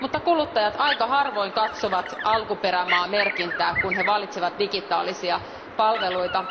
Mutta kuluttajat aika harvoin katsovat alkuperämaamerkintää, kun he valitsevat digitaalisia palveluita.